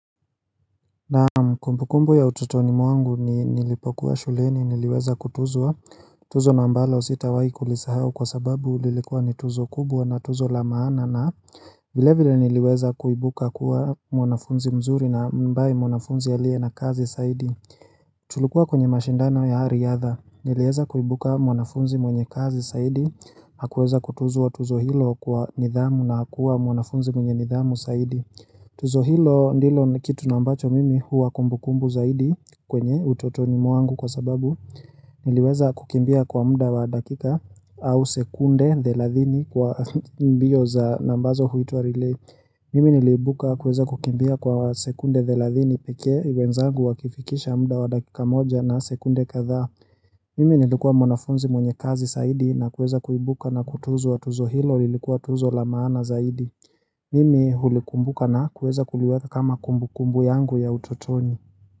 Naam kumbukumbu ya utotoni mwangu ni nilipokuwa shuleni niliweza kutuzwa tuzo na ambalo sitawahi kulisahau kwa sababu lilikuwa ni tuzo kubwa na tuzo la maana na vile vile niliweza kuibuka kuwa mwanafunzi mzuri na ambaye mwanafunzi aliye na kasi zaidi Tulikua kwenye mashindano ya riadha niliweza kuibuka mwanafunzi mwenye kasi zaidi Hakuweza kutuzwa tuzo hilo kwa nidhamu na hakuwa mwanafunzi mwenye nidhamu zaidi tuzo hilo ndilo kitu na ambacho mimi huwa kumbukumbu zaidi kwenye utotoni mwangu kwa sababu Niliweza kukimbia kwa muda wa dakika au sekunde thelathini kwa mbio za na ambazo huitwa relay Mimi niliibuka kuweza kukimbia kwa sekunde thelathini pekee wenzangu wakifikisha muda wa dakika moja na sekunde kadha Mimi nilikuwa mwanafunzi mwenye kasi zaidi na kuweza kuibuka na kutuzwa tuzo hilo lilikuwa tuzo la maana zaidi Mimi hulikumbuka na kuweza kuliweka kama kumbu kumbu yangu ya utotoni.